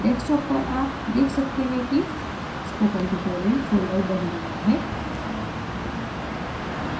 desktop पर आप देख सकते हैं कि spokentutorial folder on गया है